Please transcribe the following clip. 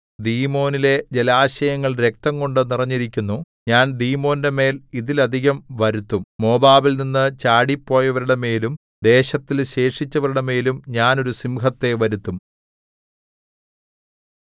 ദീമോനിലെ ജലാശയങ്ങൾ രക്തംകൊണ്ടു നിറഞ്ഞിരിക്കുന്നു ഞാൻ ദീമോന്റെമേൽ ഇതിലധികം വരുത്തും മോവാബിൽനിന്നു ചാടിപ്പോയവരുടെമേലും ദേശത്തിൽ ശേഷിച്ചവരുടെമേലും ഞാൻ ഒരു സിംഹത്തെ വരുത്തും